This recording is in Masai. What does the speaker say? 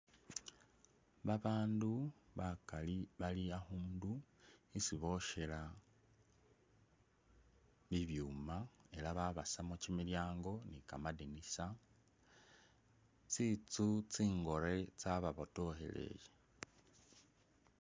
Babandu bakali bali akhuundu isi bwoshela bibyuuma ela babasamu kimilyango ni kamadinisa, tsitsu tsingore tsa ba botokheleye.